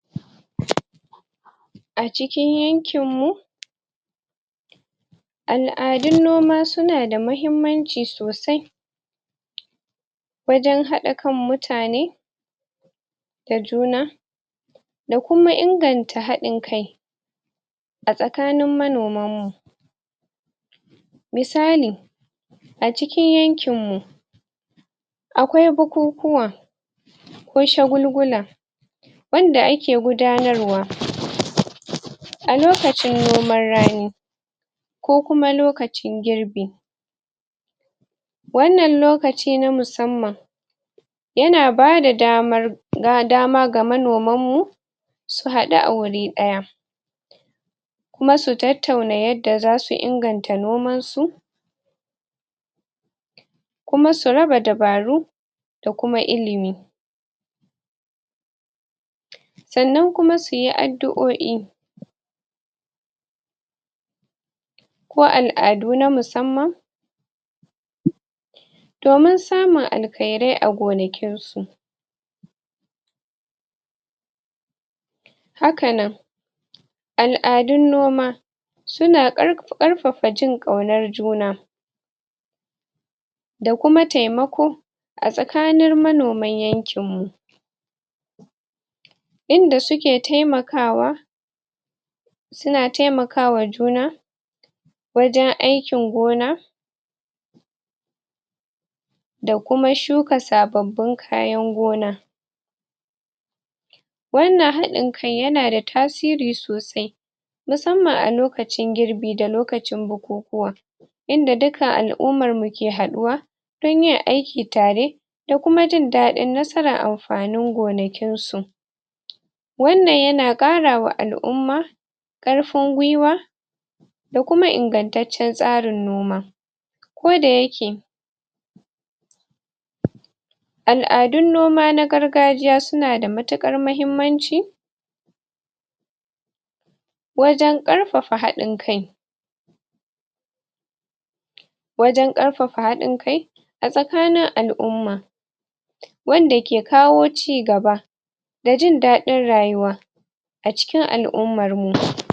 a cikin yankin mu al'adun noma suna da mahimmanci sosai wajen haɗa kan mutane da juna da kuma inganta haɗin kai a tsakanin manoman mu misali acikin yankin mu akwai bukukuwa ko shagulgula wanda ake gudanarwa a lokacin noman rani ko kuma lokacin girbi wannan lokaci na musamman yana bada damar ba dama ga manoman mu su haɗu a wuri ɗaya kuma su tattauna yanda zasu inganta noman su kuma su raba dabaru da kuma ilimi sannan kuma suyi addu'o'i ko al'adu na musamman domin samun alkhairai a gonakin su haka nan al'adun noma suna ƙar ƙarfafa jin ƙaunar juna da kuma taimako a tsakanir manoman yankin mu inda suke taimakawa suna taimakawa juna wajen aikin gona da kuma shuka sababbin kayan gona wannan haɗin kan yana da tasiri sosai musamman a lokacin girbi da lokacin bukukuwa inda dukkan al'ummar mu ke haɗuwa sunyi aiki tare ko kuma jin daɗin nasara am fanin gonakin su wannan yana ƙarawa al'umma ƙarfin gwiwa da kuma ingantaccen tsarin noma ko da yake al'adun noma na gargajiya suna da matuƙar mahimmanci wajen ƙarfafa haɗin kai wajen ƙarfafa haɗin kai a tsakanin al'umma wanda ke kawo cigaba da jin daɗin rayuwa acikin al'ummar mu